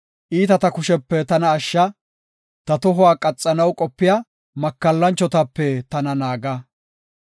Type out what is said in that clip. Godaw, iitata kushepe tana ashsha; ta tohuwa qaxanaw qopiya makallanchotape tana naaga.